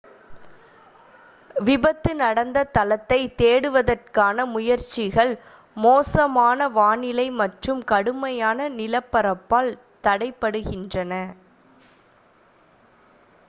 விபத்து நடந்த தளத்தைத் தேடுவதற்கான முயற்சிகள் மோசமான வானிலை மற்றும் கடுமையான நிலப்பரப்பால் தடைபடுகின்றன